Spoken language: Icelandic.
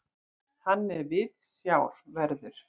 Hann er viðsjárverður.